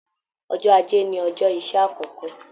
Ọjọ́ ajé ní ọjọ iṣẹ àkọkọ.